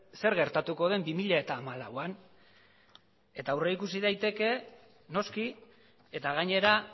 zer gertatuko den bi mila hamalauan eta aurrikusi daiteke noski eta gainera